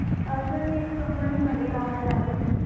Sir मी एका Company मध्ये कामाला आहे!